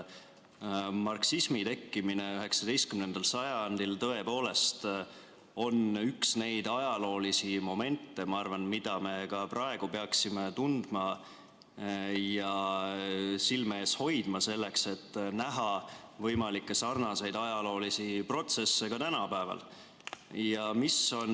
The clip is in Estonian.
Marksismi tekkimine 19. sajandil on tõepoolest üks neid ajaloolisi momente, ma arvan, mida me ka praegu peaksime tundma ja silme ees hoidma, selleks et näha võimalikke sarnaseid ajaloolisi protsesse ka tänapäeval.